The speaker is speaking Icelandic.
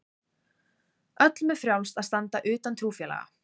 Öllum er frjálst að standa utan trúfélaga.